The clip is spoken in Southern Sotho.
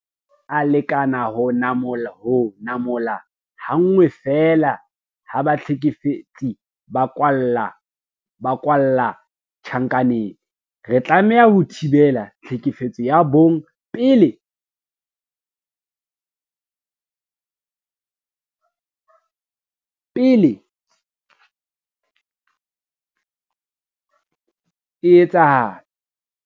Ha ho a lekana ho namola ha nngwe feela ha bahlekefetsi ba kwalla tjhankaneng. Re tlameha ho thibela tlhekefetso ya bong pele e etsahala.